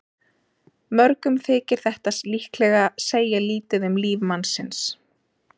Mörgum þykir þetta líklega segja lítið um líf mannsins.